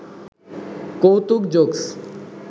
কৌতুক জোকস